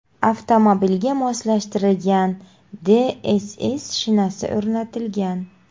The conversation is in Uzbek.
Avtomobilga moslashtirilgan DCC shinasi o‘rnatilgan.